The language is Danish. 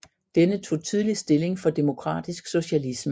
Denne tog tydeligt stilling for demokratisk socialisme